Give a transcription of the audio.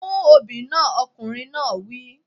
Mú obì náà! Ọkùnrin náà wí.